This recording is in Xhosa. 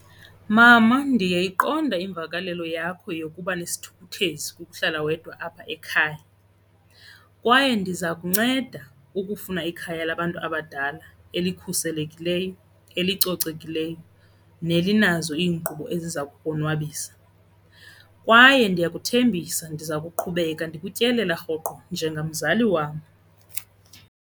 Mama, ndiyayiqonda imvakalelo yakho yokuba nesithukuthezi kukuhlala wedwa apha ekhaya kwaye ndiza kunceda ukufuna ikhaya labantu abadala elikhuselekileyo, elicocekileyo nelinazo iinkqubo eziza kukonwabisa. Kwaye ndiyakuthembisa, ndiza kuqhubeka ndikutyelela rhoqo njengamzali wam.